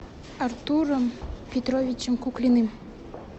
артуром петровичем куклиным